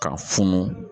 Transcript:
K'a funu